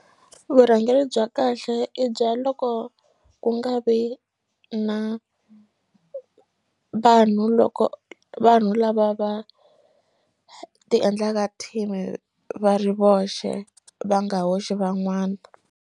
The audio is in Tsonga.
Vurhangeri bya kahle i bya loko ku nga vi na vanhu loko vanhu lava va ti endlaka team va ri voxe va nga hoxi van'wana.